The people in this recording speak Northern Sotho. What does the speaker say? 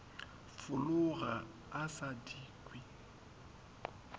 fologa a sa di kwe